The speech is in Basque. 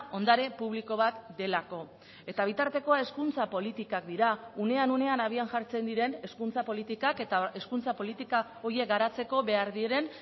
ondare publiko bat delako eta bitartekoa hezkuntza politikak dira unean unean abian jartzen diren hezkuntza politikak eta hezkuntza politika horiek garatzeko behar diren